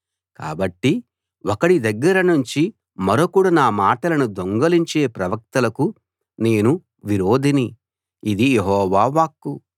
కాబట్టి ఒకడి దగ్గర నుంచి మరొకడు నా మాటలను దొంగిలించే ప్రవక్తలకు నేను విరోధిని ఇది యెహోవా వాక్కు